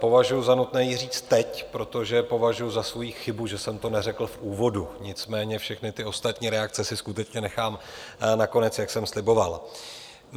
Považuji za nutné ji říci teď, protože považuji za svoji chybu, že jsem to neřekl v úvodu, nicméně všechny ty ostatní reakce si skutečně nechám na konec, jak jsem sliboval.